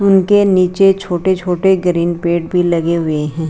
उनके नीचे छोटे छोटे ग्रीन पेड़ भी लगे हुए हैं।